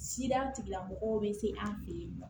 tigilamɔgɔw bɛ se an fɛ yen nɔ